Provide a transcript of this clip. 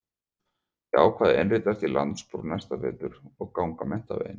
Ég ákvað að innritast í landspróf næsta vetur og ganga menntaveginn.